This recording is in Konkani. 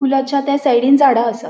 पूलाचा थ्य सायडींनं झाड़ा असा.